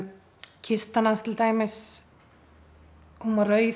kistan hans til dæmis var rauð